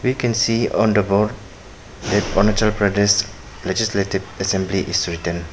We can see on the board that Arunachal Pradesh legislative assembly is written.